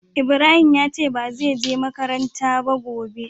Ibrahim ya ce ba ze je makaranta gobe ba.